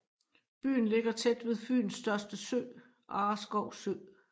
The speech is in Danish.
Byen ligger tæt ved Fyns største sø Arreskov Sø